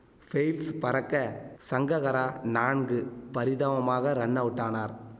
fails பறக்க சங்ககரா நான்கு பரிதாபமாக ரன் அவுட்டானார்